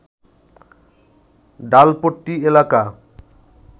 ডালপট্রি এলাকা